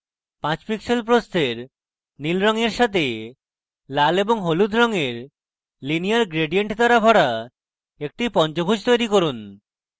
5 pixels প্রস্থের নীল stroke সাথে লাল of হলুদ রঙের linear gradient দ্বারা ভরা একটি পঞ্চভুজ তৈরী করুন